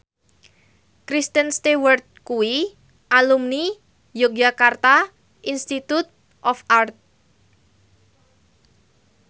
Kristen Stewart kuwi alumni Yogyakarta Institute of Art